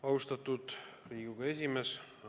Austatud Riigikogu esimees!